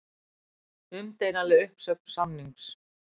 Umdeilanleg uppsögn samnings